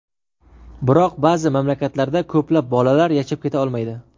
Biroq ba’zi mamlakatlarda ko‘plab bolalar yashab keta olmaydi.